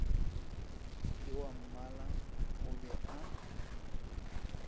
ke wammala o be a